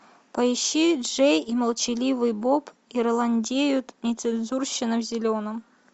поищи джей и молчаливый боб ирландеют нецензурщина в зеленом